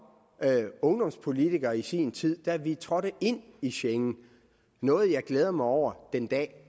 ungdomspolitiker i sin tid fejrede da vi trådte ind i schengen noget jeg glæder mig over den dag